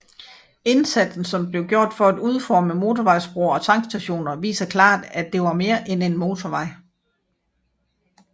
Indsatsen som blev gjort for at udforme motorvejsbroer og tankstationer viser klart at det var mere end en motorvej